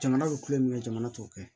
Jamana bɛ kulonkɛ min kɛ jamana t'o kɛ